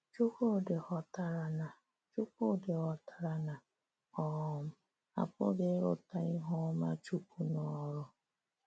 Chúkwúdị̀ ghọ́tàrà na Chúkwúdị̀ ghọ́tàrà na um a pụghị ịrụ̀tà ihù ọ́má Chúkwú n’ọrụ.